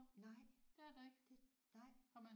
Nej det nej